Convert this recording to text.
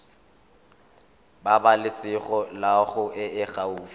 pabalesego loago e e gaufi